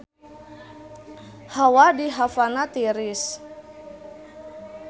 Hawa di Havana tiris